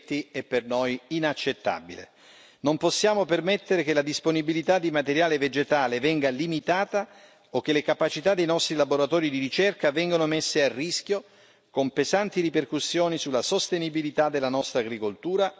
Non possiamo permettere che la disponibilità di materiale vegetale venga limitata o che le capacità dei nostri laboratori di ricerca vengano messe a rischio, con pesanti ripercussioni sulla sostenibilità della nostra agricoltura e la salute di tutti i cittadini europei.